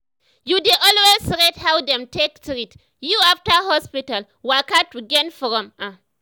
you dey always rate how dem take treat you after hospital waka to gain from am.